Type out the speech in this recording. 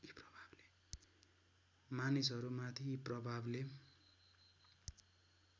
मानिसहरूमाथि यी प्रभावले